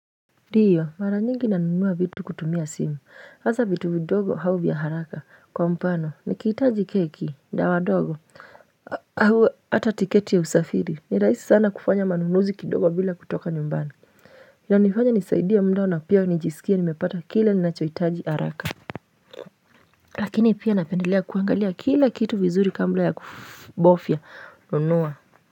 Ndiyo mara nyingi nanunuwa vitu kutumia simu hasa vitu vidogo au vya haraka kwa mfano nikitaji keki dawa dogo au hata tiketi ya usafiri ni rahisi sana kufanya manunuzi kidogo bila kutoka nyumbani Inanifanya nisaidia muda na pia nijisikie nimepata kile ninachohitaji haraka Lakini pia napendelea kuangalia kila kitu vizuri kabla ya kubofya nunuwa.